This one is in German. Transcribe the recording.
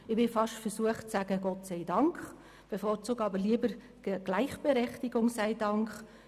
Ich bin fast versucht zu sagen: «Gott sei Dank!», bevorzuge es aber zu sagen: «Gleichberechtigung sei Dank!